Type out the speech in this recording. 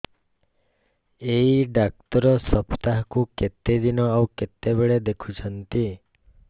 ଏଇ ଡ଼ାକ୍ତର ସପ୍ତାହକୁ କେତେଦିନ ଆଉ କେତେବେଳେ ଦେଖୁଛନ୍ତି